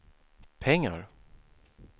pengar